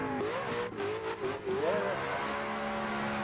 Ég togast á milli.